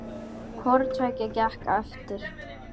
Hvoru tveggja gekk eftir.